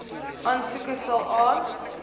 aansoeke sal aan